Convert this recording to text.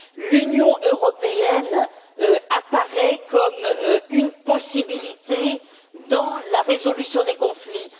L'Union européenne apparaît comme une possibilité dans la résolution des conflits.